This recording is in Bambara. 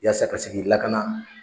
Yasa ka se k'i lakana